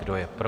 Kdo je pro?